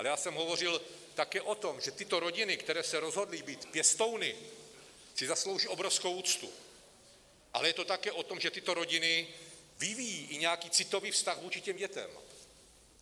Ale já jsem hovořil také o tom, že tyto rodiny, které se rozhodly být pěstouny, si zaslouží obrovskou úctu, ale je to také o tom, že tyto rodiny vyvíjejí i nějaký citový vztah vůči těm dětem.